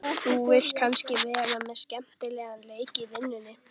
Þú vilt kannski vera með skemmtilegan leik í vinnunni?